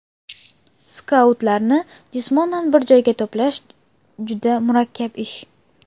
Skautlarni jismonan bir joyga to‘plash juda murakkab ish.